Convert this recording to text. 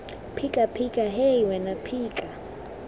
phika phika hei wena phika